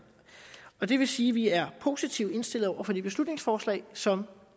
og det vil sige at vi er positivt indstillet over for det beslutningsforslag som